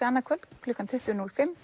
annað kvöld klukkan tuttugu núll fimm